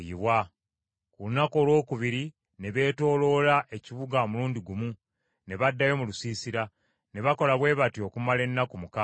Ku lunaku olwokubiri ne beetooloola ekibuga omulundi gumu, ne baddayo mu lusiisira. Ne bakola bwe batyo okumala ennaku mukaaga.